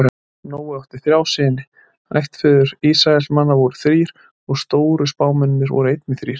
Nói átti þrjá syni, ættfeður Ísraelsmann voru þrír og stóru spámennirnir voru einnig þrír.